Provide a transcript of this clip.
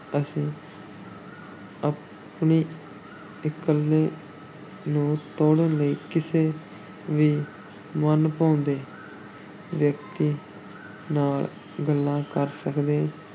ਅਸੀਂ ਆਪਣੀ ਇਕੱਲ ਨੂੰ ਤੋੜਨ ਲਈ ਕਿਸੇ ਵੀ ਮਨ-ਭਾਉਂਦੇ ਵਿਅਕਤੀ ਨਾਲ ਗੱਲਾਂ ਕਰ ਸਕਦੇ,